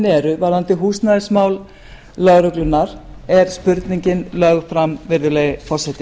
eru varðandi húsnæðismál lögreglunnar er spurningin lögð fram virðulegi forseti